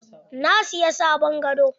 Na siyi sabon gado.